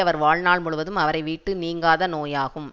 அவர் வாழ்நாள் முழுதும் அவரை விட்டு நீங்காத நோயாகும்